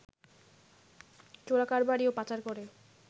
চোরাকারবারি ও পাচার করে